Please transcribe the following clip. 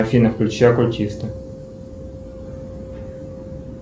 афина включи оккультиста